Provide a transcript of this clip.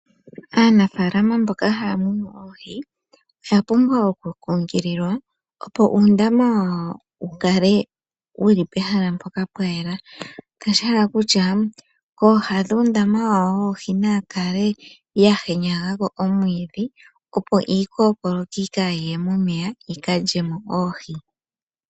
Aanafaalama mboka haya munu oohi oya pumbwa oku kunkililwa opo uundama wawo wu kale wu li pehala mpoka pwa yela. Kokutya kooha dhuundama wawo woohi naku kale kwa henyagwa omwiidhi opo iikookoloki kaayi ye mo momeya yi ka lye mo oohi.